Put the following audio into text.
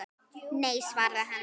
Nei, svaraði hann.